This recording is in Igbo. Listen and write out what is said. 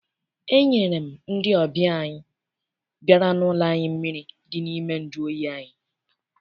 Enyere m ndị ọbịa ahụ bịara n'ụlọ anyị mmiri dị n'ime nju oyi anyị.